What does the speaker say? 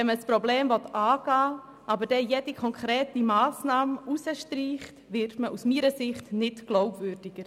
Wenn man ein Problem angehen will, jedoch jede konkrete Massnahme streicht, wird man nicht glaubwürdiger.